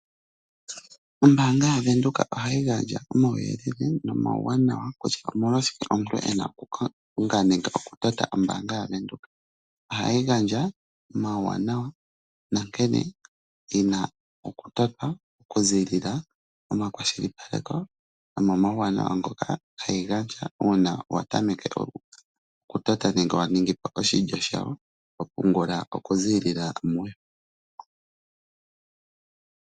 Ombaanga yaVenduka ohayi gandja omauyelele nomauwanawa kutya omolwashike omuntu e na okutota ombaanga yaVenduka. Ohayi gandja omauwanawa nankene yi na okutotwa okuziilila momakwashilipaleko nomomauwanawa ngoka hayi gandja uuna wa tameke okutota nenge wa ningi po oshilyo shayo ho pungula okuziilila muyo.